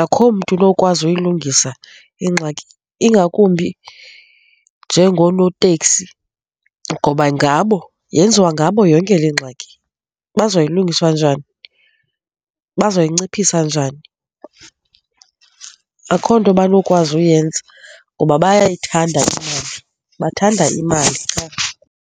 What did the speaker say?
Akukho mntu onokwazi uyilungisa ingxaki ingakumbi njengonooteksi ngoba, ngabo yenziwa ngabo yonke le ngxaki baza kuyilungisa njani? Bazoyinciphisa njani? Akukho nto abanokwazi uyenza ngoba bayayithanda imali, bathanda imali .